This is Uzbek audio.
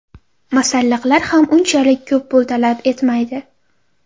Masalliqlar ham unchalik ko‘p pul talab etmaydi.